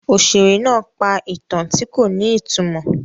Òṣèré náà pa ìtàn tí kò ní ìtumọ̀.